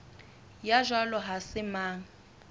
ya jwalo ha se mang